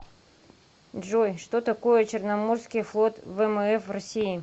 джой что такое черноморский флот вмф россии